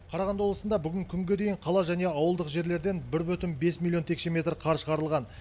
қарағанды облысында бүгінгі күнге дейін қала және ауылдық жерлерден бір бүтін бес миллион текше метр қар шығарылған